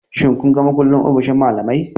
Shin kun ga mukullin ofishin malamai?